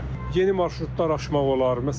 Yeni marşrutlar açmaq olar.